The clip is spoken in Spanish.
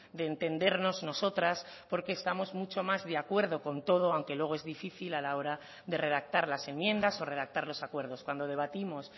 de entendernos nosotras porque estamos mucho más de acuerdo con todo aunque luego es difícil a la hora de redactar las enmiendas o redactar los acuerdos cuando debatimos